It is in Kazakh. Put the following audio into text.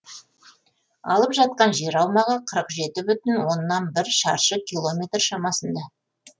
алып жатқан жер аумағы қырық жеті бүтін оннан бір шаршы километр шамасында